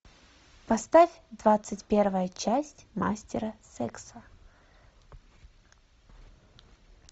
поставь двадцать первая часть мастера секса